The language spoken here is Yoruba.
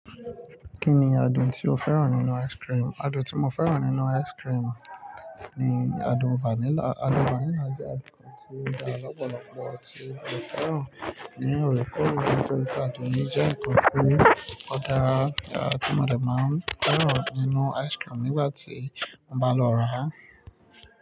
Kí ni adùn tí o fẹ́ràn nínú ice cream? Adùn tí mo fẹ́ràn nínú ice cream ni adùn vanilla. Adùn vanilla jẹ́ adùn kan tí dá lọ́pọ̀lọpọ̀ tí mo fẹ́ràn nínú orúkọ rẹ̀ nítorí pé adùn yìí jẹ́ ǹkan tí ó dára tí ọmọdé máa ń fẹ́ràn nínú ice cream nígbà tí mo bá lọ rà á.